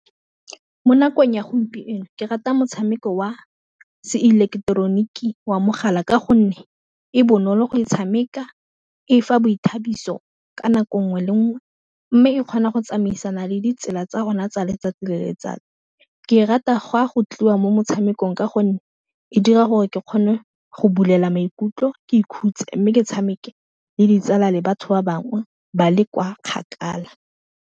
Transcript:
Mo nakong ya gompieno ke rata motshameko wa Se ileketeroniki wa mogala ka gonne e bonolo go e tshameka e fa boithabiso ka nako nngwe le nngwe, mme e kgona go tsamaisana le ditsela tsa rona tsa letsatsi le letsatsi, ke e rata go a go tliwa mo motshamekong ka gonne e dira gore ke kgone go bulela maikutlo ke ikhutse mme ke tshameke le ditsala le batho ba bangwe ba le kwa kgakala.